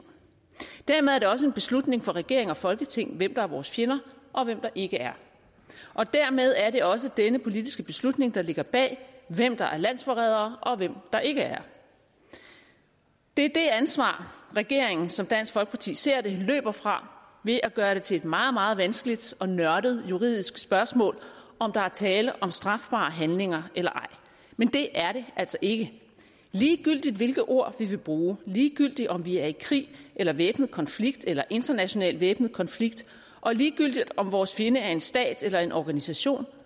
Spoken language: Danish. dermed er det også en beslutning for regering og folketing hvem der er vores fjender og hvem der ikke er og dermed er det også denne politiske beslutning der ligger bag hvem der er landsforrædere og hvem der ikke er det er det ansvar regeringen som dansk folkeparti ser det løber fra ved at gøre det til et meget meget vanskeligt og nørdet juridisk spørgsmål om der er tale om strafbare handlinger eller ej men det er det altså ikke ligegyldigt hvilke ord vi vil bruge ligegyldigt om vi er i krig eller væbnet konflikt eller international væbnet konflikt og ligegyldigt om vores fjende er en stat eller en organisation